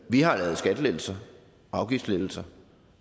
vi har lavet skattelettelser afgiftslettelser